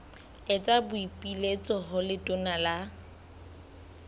etsa boipiletso ho letona la